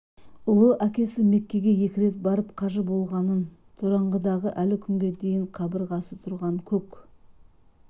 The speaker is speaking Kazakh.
ұлы әкесі меккеге екі рет барып қажы болғанын тораңғыдағы әлі күнге дейін қабырғасы тұрған көк